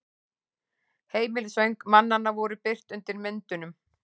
Heimilisföng mannanna voru birt undir myndunum